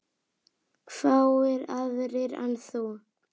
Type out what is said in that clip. Fáir aðrir en þú.